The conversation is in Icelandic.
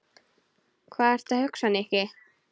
Hvað ertu að hugsa, Nikki?